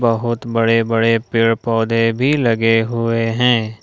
बहुत बड़े बड़े पेड़ पौधे भी लगे हुए हैं।